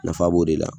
Nafa b'o de la